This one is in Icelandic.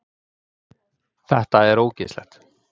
Þetta er ógeðslegt